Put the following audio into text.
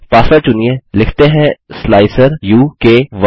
password चुनिए लिखते हैं स्लाइसर उ क 1